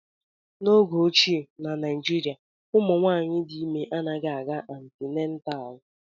N'oge ochie, Na Naịjirịa, ụmụ nwanyị dị ime anaghị aga antịnetal